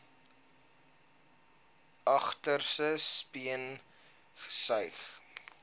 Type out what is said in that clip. agterste speen gesuig